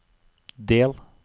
del